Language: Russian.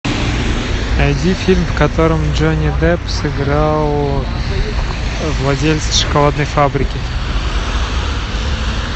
найди фильм в котором джонни депп сыграл владельца шоколадной фабрики